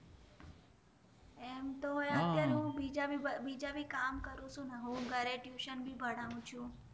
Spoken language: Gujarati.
એમતો અત્યરે હું બેજા ભી કામ કરું છું હું ઘરે ટયુંસન ભી ભનાવું છું